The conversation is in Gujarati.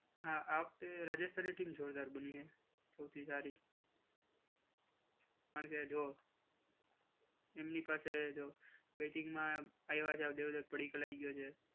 હા આ વખતે રાજસ્થાની ટીમ જોરદાર બની છે સૌથી સારી અને કે જો એમની પાસે બેટિંગમાં આવ્યા છે દેવદત્ત પડીકલ આવી ગયો છે.